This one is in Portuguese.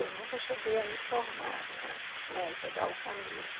Eu nunca cheguei a me formar em arte né, pegar o canudo.